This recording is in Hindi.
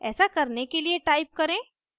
ऐसा करने के लिए टाइप करें